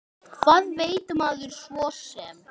Hvað veit maður svo sem.